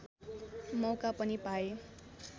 मौका पनि पाए